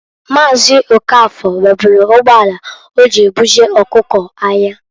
Maazị Okafor nweburu ugboala oji ebuje ọkụko̻ ahịa.